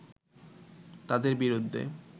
তাঁদের বিরুদ্ধে